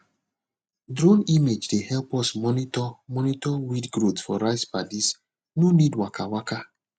drone image dey help us monitor monitor weed growth for rice paddies no need waka waka